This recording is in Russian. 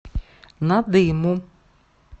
надыму